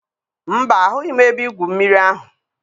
Mba, ahụghị m ebe igwu mmiri ahụ.